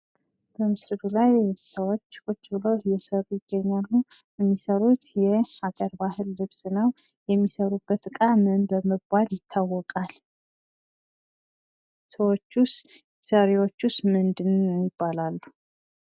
በምስሉ ላይ የምታያቸው ሰዎች እየሰሩ ይታያሉ። የሚሰሩት የሀገር ባህል ልብስ ነው። የሚሰሩበት እቃ ምን በመባል ይታወቃል? ሰሪዎቹስ ምን ይባላሉ?